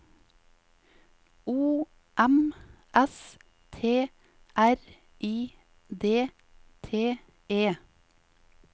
O M S T R I D T E